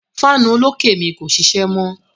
Fáànù olókè mi kò ṣíṣẹ́ mọ.